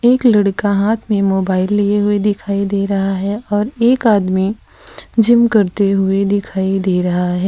एक लड़का हाथ में मोबाइल लिए हुए दिखाई दे रहा है और एक आदमी जिम करते हुए दिखाई दे रहा है।